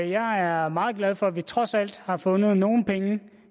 jeg er meget glad for at vi trods alt har fundet nogle penge